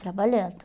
Trabalhando.